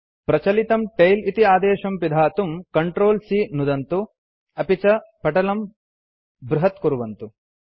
प्रचलितं टेल इति आदेशं पिधातुं Ctrl C नुदन्तु अपि च पटलं बृहत्कुर्वन्तु